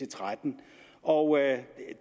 og tretten og